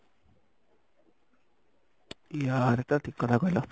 ୟା ଏଇଟା ଠିକ କଥା କହିଲ